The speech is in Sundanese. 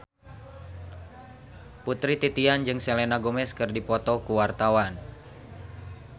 Putri Titian jeung Selena Gomez keur dipoto ku wartawan